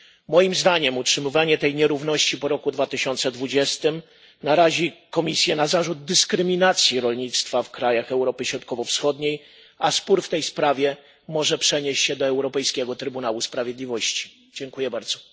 Moim zdaniem utrzymywanie tej nierówności po roku 2020 narazi Komisję na zarzut dyskryminacji rolnictwa w krajach Europy Środkowo Wschodniej, a spór w tej sprawie może przenieść się do Trybunału Sprawiedliwości Unii Europejskiej.